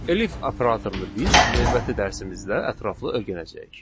Elif operatorunu biz növbəti dərsimizdə ətraflı öyrənəcəyik.